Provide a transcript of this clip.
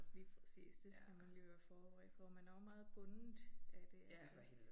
Lige præcis det skal man lige være forberedt på. Man er også meget bundet af det altså